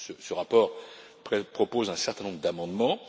Ce rapport propose un certain nombre d'amendements.